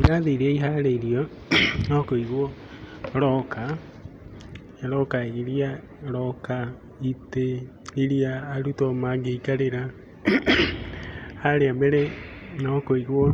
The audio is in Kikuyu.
Irathi irĩa iharĩirio no kũigwo roka, roka irĩa roka, roka itĩ irĩa arutwo mangĩikarĩra. Harĩa mbere no kũigwo